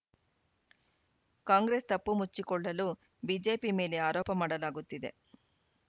ಕಾಂಗ್ರೆಸ್‌ ತಪ್ಪು ಮುಚ್ಚಿಕೊಳ್ಳಲು ಬಿಜೆಪಿ ಮೇಲೆ ಆರೋಪ ಮಾಡಲಾಗುತ್ತಿದೆ